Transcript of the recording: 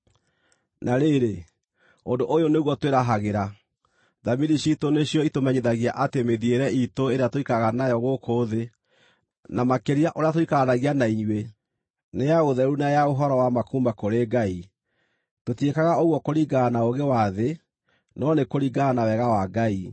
Na rĩrĩ, ũndũ ũyũ nĩguo twĩrahagĩra: Thamiri ciitũ nĩcio itũmenyithagia atĩ mĩthiĩre iitũ ĩrĩa tũikaraga nayo gũkũ thĩ, na makĩria ũrĩa tũikaranagia na inyuĩ, nĩ ya ũtheru na ya ũhoro wa ma kuuma kũrĩ Ngai. Tũtiĩkaga ũguo kũringana na ũũgĩ wa thĩ, no nĩ kũringana na wega wa Ngai.